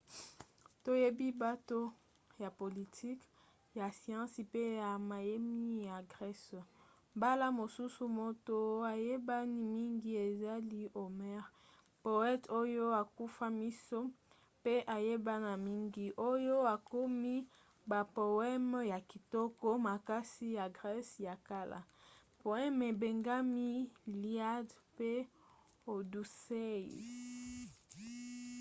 toyebi bato ya politiki ya siansi pe ya mayemi ya grese. mbala mosusu moto ayebani mingi ezali homer poete oyo akufa miso pe ayebana mingi oyo akomi bapoeme ya kitoko makasi ya grese ya kala: poeme ebengami iliad pe odyssey